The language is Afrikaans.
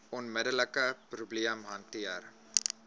onmiddelike probleem hanteer